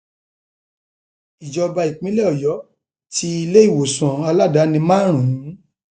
ìjọba ìpínlẹ ọyọ ti iléèwòsàn aládàáni márùn